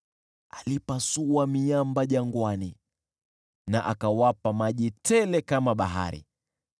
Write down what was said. Alipasua miamba jangwani na akawapa maji tele kama bahari,